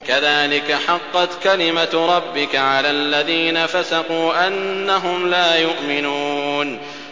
كَذَٰلِكَ حَقَّتْ كَلِمَتُ رَبِّكَ عَلَى الَّذِينَ فَسَقُوا أَنَّهُمْ لَا يُؤْمِنُونَ